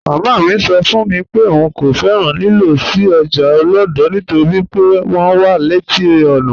Màmá mi sọ́ fún mi pé ọ̀un kò fẹ́ràn lílọ̀ sí ọ́jà Olodo nítorí pé wọn wà leti ọ́nà